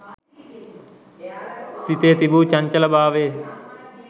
සිතේ තිබු චංචල භාවය